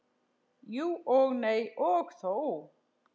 Jú og nei og þó.